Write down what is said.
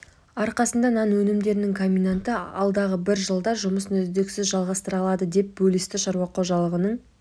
арқасында нан өнімдерінің комбинаты алдағы бір жылда жұмысын үздіксіз жалғастыра алады деп бөлісті шаруа қожалығының